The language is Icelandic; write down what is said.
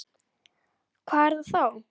Hvað er það þá?